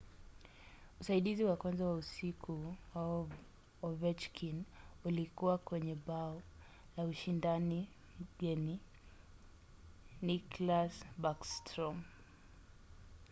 usaidizi wa kwanza wa usiku wa ovechkin ulikuwa kwenye bao la ushindina mgeni nicklas backstrom;